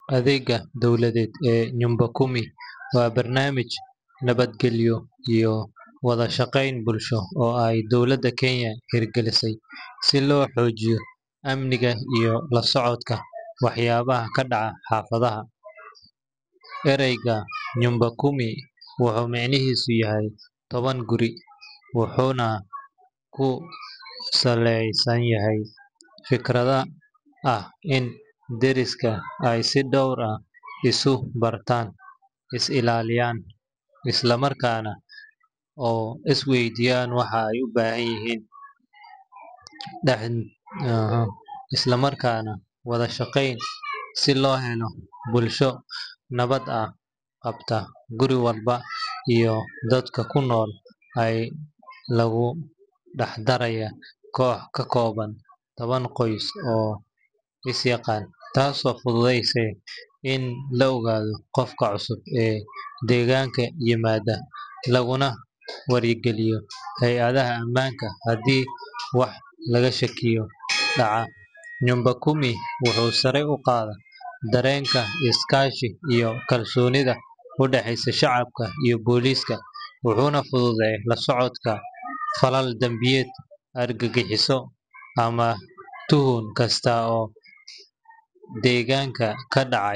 Adeegga dowladeed ee Nyumba Kumi waa barnaamij nabadgelyo iyo wada shaqayn bulsho oo ay dowladda Kenya hirgelisay si loo xoojiyo amniga iyo la socodka waxyaabaha ka dhacaya xaafadaha. Erayga Nyumba Kumi wuxuu micnihiisu yahay "toban guri", wuxuuna ku saleysan yahay fikradda ah in deriska ay si dhow isu bartaan, is ilaaliyaan, isla markaana wada shaqeeyaan si loo helo bulsho nabad ah. Qaabkan, guri walba iyo dadka ku nool ayaa lagu dhex darayaa koox ka kooban toban qoys oo is yaqaan, taasoo fududeyneysa in la ogaado qofka cusub ee deegaanka yimaada, laguna wargeliyo hay’adaha ammaanka haddii wax laga shakiyo dhacaan. Nyumba Kumi wuxuu sare u qaadaa dareenka iskaashi iyo kalsoonida u dhaxaysa shacabka iyo booliska, wuxuuna fududeeyaa la socodka falal dambiyeed, argagixiso, ama tuhun kasta oo deegaanka ka dhacaya